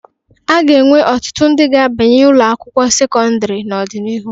A ga-enwe ọtụtụ ndị ga-abanye ụlọ akwụkwọ sekọndịrị n'ọdịnihu.